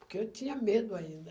Porque eu tinha medo ainda.